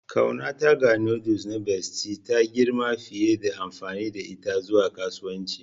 Ƙaunata ga noodles na Bestie ta girma fiye da amfani da ita zuwa kasuwanci.